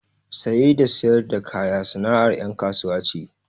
Saye da sayar da kaya sana’ar ‘yan kasuwa ce.